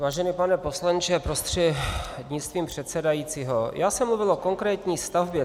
Vážený pane poslanče prostřednictvím předsedajícího, já jsem mluvil o konkrétní stavbě.